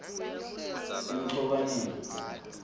emgcobaneni